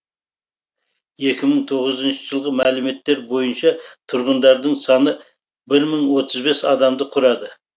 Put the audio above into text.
екі мың тоғызыншы жылғы мәліметтер бойынша тұрғындардың саны бір мың отыз бес адамды құрады